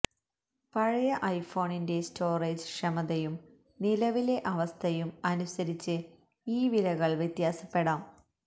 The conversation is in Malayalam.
പഴയ ഐഫോണിന്റെ സ്റ്റോറേജ് ക്ഷമതയും നിലവിലെ അവസ്ഥയും അനുസരിച്ച് ഈ വിലകൾ വ്യത്യാസപ്പെടാം